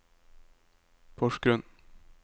Porsgrunn